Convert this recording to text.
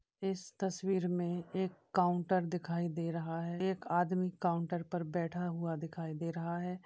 इस तस्वीर में एक काउंटर दिखाई दे रहा है एक आदमी काउंटर पर बैठा हुआ दिखाई दे रहा है।